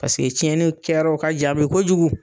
Paseke tiɲɛniw kɛyɔrɔw ka jan bi kojugu.